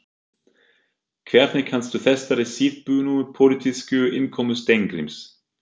Hvernig kanntu þessari síðbúnu pólitísku innkomu Steingríms?